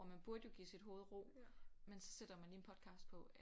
Og man burde jo give sit hovede ro men så sætter man lige en podcast på